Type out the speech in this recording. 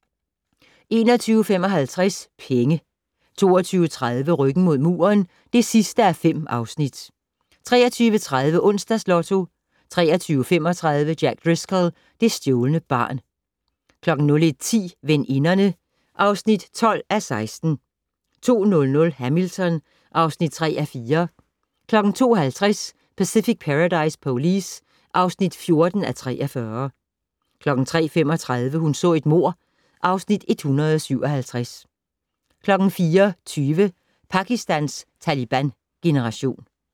21:55: Penge 22:30: Ryggen mod muren (5:5) 23:30: Onsdags Lotto 23:35: Jack Driscoll - det stjålne barn 01:10: Veninderne (12:16) 02:00: Hamilton (3:4) 02:50: Pacific Paradise Police (14:43) 03:35: Hun så et mord (Afs. 157) 04:20: Pakistans Taliban-generation